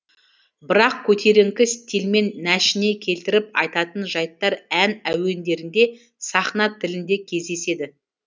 бірақ көтеріңкі стильмен нәшіне келтіріп айтатын жайттар ән әуендерінде сахна тілінде кездеседі